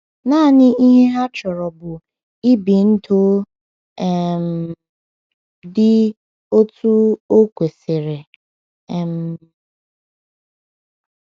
Nanị ihe ha chọrọ bụ ibi ndụ um dị otú o kwesịrị. um